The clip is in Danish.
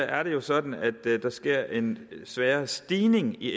er det jo sådan at der sker en svagere stigning i